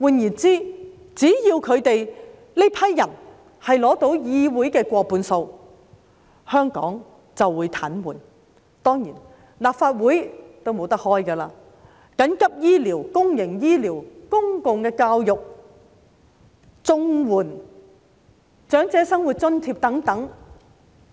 換言之，只要他們取得議會過半數議席，香港就會癱瘓，立法會亦不能開會，處理緊急醫療、公營醫療、公共教育、綜援、長者生活津貼等問題，